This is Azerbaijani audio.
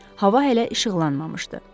Hava hələ işıqlanmamışdı.